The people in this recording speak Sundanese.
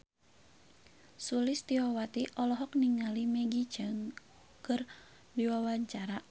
Sulistyowati olohok ningali Maggie Cheung keur diwawancara